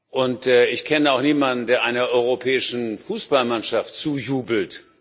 Und ich kenne auch niemanden, der einer europäischen Fußballmannschaft zujubelt.